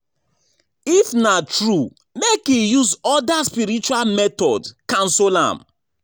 If na true make e use other spiritual method cancel am